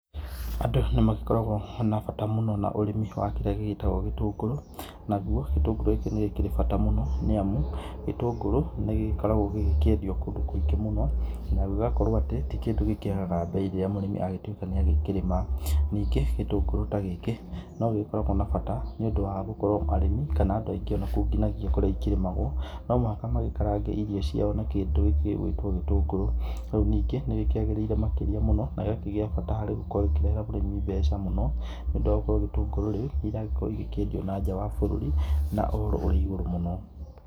Andũ nĩmagĩkoragwo na bata mũno na ũrĩmi wa kĩrĩa gĩgĩtagwo gĩtũngũrũ, naguo gĩtũngũrũ gĩkĩ nĩ gĩkĩrĩ bata mũno nĩ amu. Gĩtũngũrũ nĩ gĩkoragwo gĩgĩkĩendio kũndũ kũingĩ mũno na gĩgakorwo atĩ ti kĩndũ gĩkĩagaga mbei rĩrĩa mũndũ agĩtuĩka nĩ agĩkĩrĩma. Nĩngĩ gĩtũngũrũ ta gĩkĩ no gĩkoragwo na bata nĩ ũndũ wa gũkorwo arĩmi ona andũ aingĩ onakũu nginagia kũrĩa ũkĩrĩa ikĩrĩmagwo. No mũhaka magĩkarange irio cia na kĩndũ gĩgwĩtwo gĩtũngũrũ, ningĩ nĩ gĩkĩagĩrĩire makĩria mũno na gĩkagĩa bata gũkorwo gĩkĩrehera mũrĩmi mbeca mũno. Nĩ ũndũ wa gũkorwo gĩtũngũrũ rĩu iragĩkorwo igĩkĩendio nanja wa bũrũri na ũhoro ũrĩ igũrũ mũno.